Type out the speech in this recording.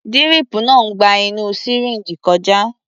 Díríìpù náà ń gba inú sìríǹjì kọjá.